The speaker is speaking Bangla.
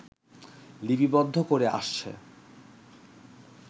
লিপিবদ্ধ করে আসছে